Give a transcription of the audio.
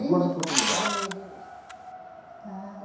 Em duas oportunidades.